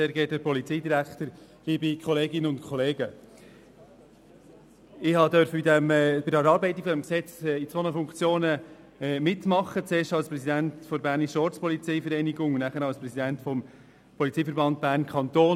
Ich durfte bei der Erarbeitung dieses Gesetzes in zwei Funktionen mitmachen: erst als Präsident der Bernischen Ortspolizeivereinigung (BOV), dann als Präsident des Polizeiverbandes Bern-Kanton.